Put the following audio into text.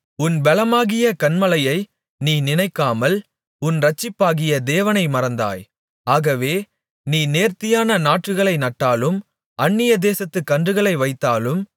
உன் பெலமாகிய கன்மலையை நீ நினைக்காமல் உன் இரட்சிப்பாகிய தேவனை மறந்தாய் ஆகவே நீ நேர்த்தியான நாற்றுகளை நட்டாலும் அந்நிய தேசத்துக் கன்றுகளை வைத்தாலும்